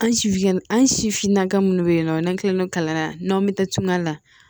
An si fingɛn an si finna ka minnu bɛ yen nɔ n'an tilal'o kalama n'anw bɛ taa tunga la